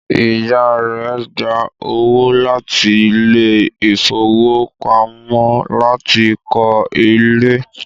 Ìyá rẹ̀ gba owó láti ilé ìfowópamọ́ láti kọ́ ilé